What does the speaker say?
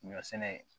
Ɲɔ sɛnɛ